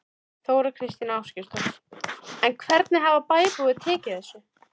Þóra Kristín Ásgeirsdóttir: En hvernig hafa bæjarbúar tekið þessu?